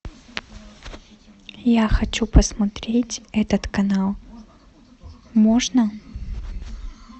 я хочу посмотреть этот канал можно